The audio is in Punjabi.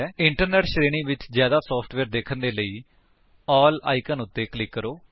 ਇੰਟਰਨੇਟ ਸ਼੍ਰੇਣੀ ਵਿੱਚ ਜਿਆਦਾ ਸੋਫਟਵੇਅਰ ਦੇਖਣ ਦੇ ਲਈ ਏਐਲਐਲ ਆਇਕਨ ਉੱਤੇ ਕਲਿਕ ਕਰੋ